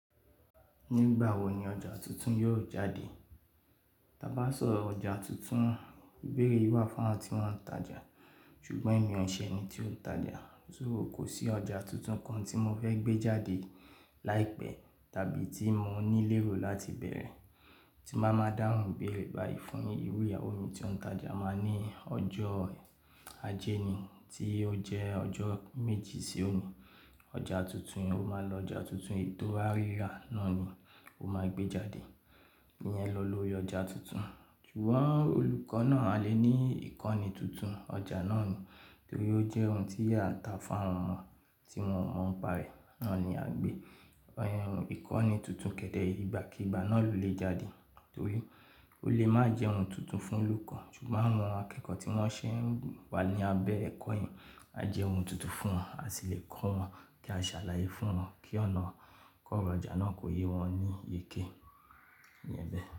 Nígbà wo ni ọjà tuntun yóò jáde? Taa bá sọ ọjà tuntun, ìbéèrè yi wà fún àwọn tí wọ́n ń tajà, ṣùgbọ́n ẹ̀mí ọ̀sẹ̀ eni tí ó ń tajà. So kò sí ọjà tuntun kan tí mo fẹ́ gbé jáde láìpẹ́ tàbí tí mo ní léro láti bẹ̀rẹ̀, tí máa máa dáhùn béèrè báyìí fún ìru iyawo mi tí ọ́un tajà o máa ní ọjọ́ ajé ni tí ó jẹ́ ọjọ́ méjì sí òní. Ọjà tuntun, o máa lọ ọjà tuntun ètò rírà náà ni o máa gbé jáde. Ìyẹn lọ lóri ọjà tuntun. Ṣùgbọ́n olùkọ́ náà a lè ní ìkọ́ni tuntun ọjà náà ni torí ó jẹ́ ohun tí a ń ta fún àwọn ọmọ tí wọ́n mọ ń parẹ́. Náà ni à ń gbé. Ìkọ́ni tuntun kẹ̀dẹ̀ ìgbàkígbà náà ló lè jáde torí ó lè má jẹ́ ohun tuntun fún olùkọ́, ṣùgbọ́n àwọn akẹ́kọ̀ọ́ tí wọ́n ṣé ń wà ní abẹ́ ẹ̀kọ́ yen, a jẹ ohun tuntun fún wọn, a sì lè kọ́ wọn kí a ṣàlàyé fún wọn kí ọ̀nà kọ́ra ọjà náà kó yé wọn ní yèké. Ìyẹn bẹ́ẹ̀